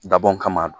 Dabɔn kama